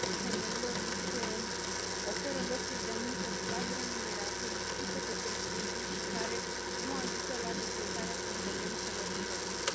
Femeilor li se oferă locuri de muncă slab remunerate, lipsite de prestigiu și care nu ajută la dezvoltarea competențelor proprii.